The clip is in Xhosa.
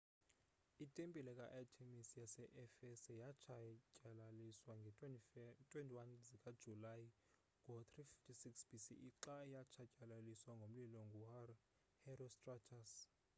itempile ka-artemis yase-efese yatshatyalaliswa ngee-21 zikajulayi ngo-356 bce xa yatshatyalaliswa ngomlilo nguherostratus